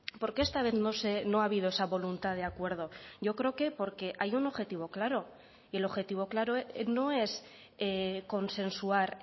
por qué esta vez no ha habido esa voluntad de acuerdo yo creo que porque hay un objetivo claro y el objetivo claro no es consensuar